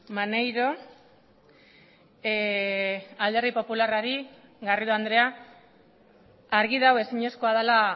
maneiro alderdi popularrari garrido andrea argi dago ezinezkoa dela